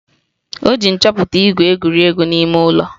O ji ihe nchọta ígwè egwuri egwu n'ime ụlọ.